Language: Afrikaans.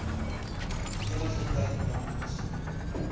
eniger tyd namens